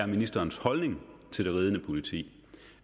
ministerens holdning til det ridende politi